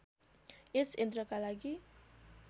यस यन्त्रका लागि